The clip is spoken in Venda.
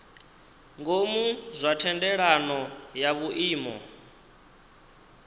ngomu zwa thendelano ya vhuimo